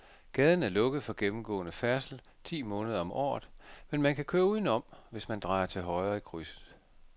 Gaden er lukket for gennemgående færdsel ti måneder om året, men man kan køre udenom, hvis man drejer til højre i krydset.